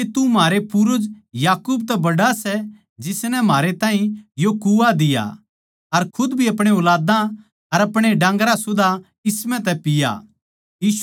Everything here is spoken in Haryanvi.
के तू म्हारै पूर्वज याकूब तै बड्ड़ा सै जिसनै म्हारै ताहीं यो कुआं दिया अर खुद भी अपणे ऊलादां अर अपणे डान्गरां सुदा इस म्ह तै पीया